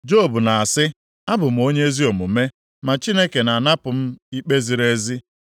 “Job na-asị, ‘Abụ m onye ezi omume, ma Chineke na-anapụ m ikpe ziri ezi.